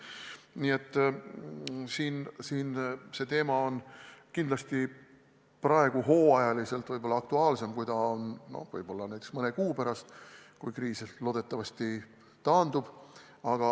Nii et see teema on praegu hooajaliselt kindlasti aktuaalsem, kui ta on võib-olla mõne kuu pärast – siis kriis loodetavasti taandub.